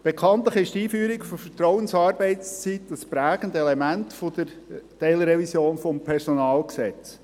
Bekanntlich ist die Einführung der Vertrauensarbeitszeit prägende Element der Teilrevision des PG.